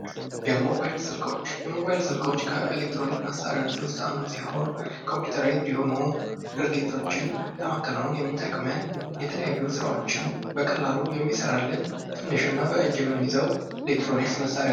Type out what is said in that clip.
የሞባይል ስልኮች ከኤሌክትሮኒክ መሳሪዎች ውስጥ አንዱ ሲሆን ፤ ኮምፒዩተራይዝድ የሆኑ ድርጊቶችን ለማከናወን የሚጠቅመን የተለያዩ ስራዎችን በቀላሉ የሚሠራልን ትንሽ እና በእጅ የምንይዘው ኤሌክትሮኒክስ መሳሪያ ነው።